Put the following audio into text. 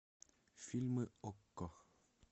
фильмы окко